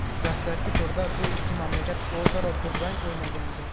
Dastlabki turda bu ikki mamlakat o‘zaro durang o‘ynagandi.